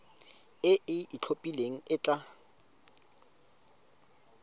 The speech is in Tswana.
e e itlhophileng e tla